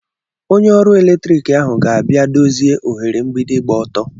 Onye oru electriki ahụ ga-abịa dozie oghere mgbidi gba ọtọ.